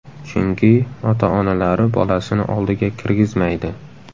Chunki ota-onalari bolasini oldiga kirgizmaydi.